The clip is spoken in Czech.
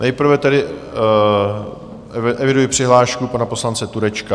Nejprve tedy eviduji přihlášku pana poslance Turečka.